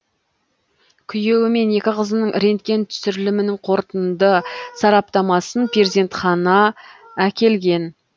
күйеуі мен екі қызының рентген түсірілімінің қорытынды сараптамасын перзентхана әкелген